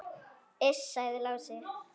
Iss, sagði Lási.